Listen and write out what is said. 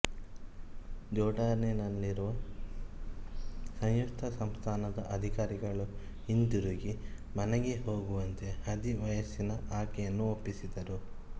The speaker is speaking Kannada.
ಜೋರ್ಡಾನಿನಲ್ಲಿರುವ ಸಂಯುಕ್ತ ಸಂಸ್ಥಾನದ ಅಧಿಕಾರಿಗಳು ಹಿಂದಿರುಗಿ ಮನೆಗೆ ಹೋಗುವಂತೆ ಹದಿವಯಸ್ಸಿನ ಆಕೆಯನ್ನು ಒಪ್ಪಿಸಿದರು